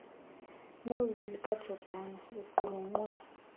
noveli kajordan iqulunqwe